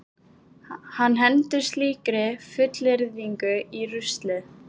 Hann hendir slíkri fullyrðingu í ruslið.